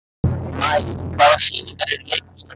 Maj, hvaða sýningar eru í leikhúsinu á þriðjudaginn?